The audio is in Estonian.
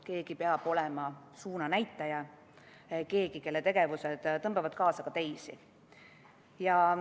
Keegi peab olema suunanäitaja – keegi, kelle tegevused tõmbavad kaasa ka teisi.